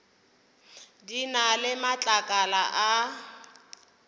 di na le matlakala a